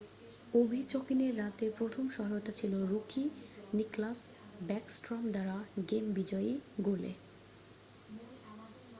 ওভেচকিনের রাতের প্রথম সহায়তা ছিল রুকি নিকলাস ব্যাকস্ট্রম দ্বারা গেম বিজয়ী গোলে